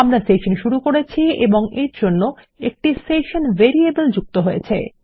আমরা সেশন শুরু করেছি এবং এর জন্য একটি সেশন ভেরিয়েবল যুক্ত হয়েছে